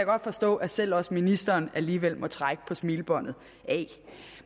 godt forstå at selv også ministeren alligevel må trække på smilebåndet af